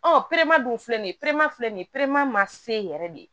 Ɔ dun filɛ nin ye filɛ nin ye ma se yɛrɛ de